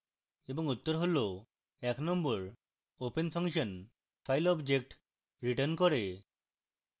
এবং উত্তর হল